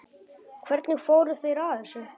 Hvernig fóru þeir að þessu?